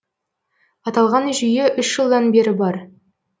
аталған жүйе үш жылдан бері бар